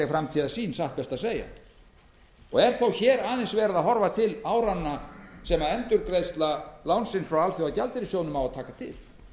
framtíðarsýn og er þó hér aðeins verið að horfa til áranna sem endurgreiðsla lánsins frá alþjóðagjaldeyrissjóðnum á að taka til